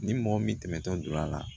Ni mɔgɔ min tɛmɛtɔ donna a la